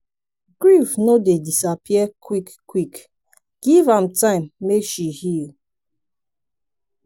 grief no dey disappear quick-quick give am time make she heal.